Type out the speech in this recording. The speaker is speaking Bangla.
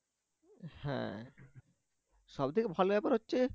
হ্যাঁ সবথেকে ভালো ব্যাপার হচ্ছে